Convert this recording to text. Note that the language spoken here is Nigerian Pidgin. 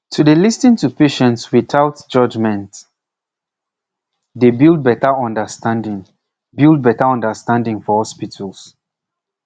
to dey lis ten to patients without judgement pause dey build better understanding build better understanding for hospitals